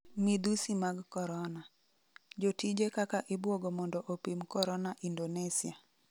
midhusi mag korona: jotije kaka ibwogo mondo opim korona Indonesia